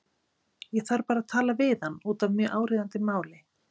Ég þarf bara að tala við hann út af mjög áríðandi máli.